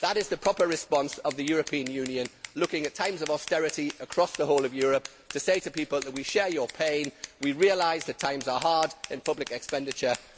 That is the proper response of the European Union looking at times of austerity across the whole of Europe to say to people that we share your pain, we realise that times are hard in public expenditure.